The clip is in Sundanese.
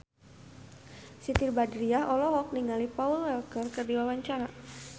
Siti Badriah olohok ningali Paul Walker keur diwawancara